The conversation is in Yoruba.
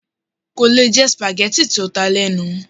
Kò lè jẹ spaghetti tó ta lenu